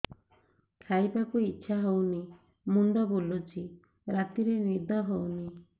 ଖାଇବାକୁ ଇଛା ହଉନି ମୁଣ୍ଡ ବୁଲୁଚି ରାତିରେ ନିଦ ହଉନି